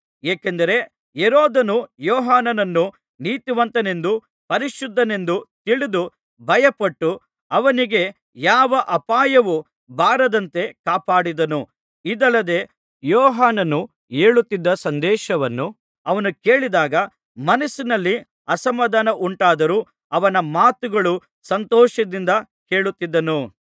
ಏಕೆಂದರೆ ಹೆರೋದನು ಯೋಹಾನನನ್ನು ನೀತಿವಂತನೆಂದೂ ಪರಿಶುದ್ಧನೆಂದೂ ತಿಳಿದು ಭಯಪಟ್ಟು ಅವನಿಗೆ ಯಾವ ಅಪಾಯವೂ ಬಾರದಂತೆ ಕಾಪಾಡಿದ್ದನು ಇದಲ್ಲದೆ ಯೋಹಾನನು ಹೇಳುತ್ತಿದ್ದ ಸಂದೇಶವನ್ನು ಅವನು ಕೇಳಿದಾಗ ಮನಸ್ಸಿನಲ್ಲಿ ಅಸಮಾಧಾನ ಉಂಟಾದರೂ ಅವನ ಮಾತನ್ನು ಸಂತೋಷದಿಂದ ಕೇಳುತ್ತಿದ್ದನು